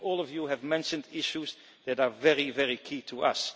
I think all of you have mentioned issues that are very, very crucial to us.